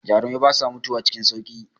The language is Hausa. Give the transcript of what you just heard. Jarumai basa mutuwa cikin sauƙi.